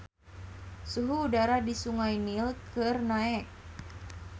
Suhu udara di Sungai Nil keur naek